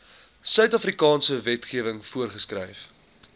suidafrikaanse wetgewing voorgeskryf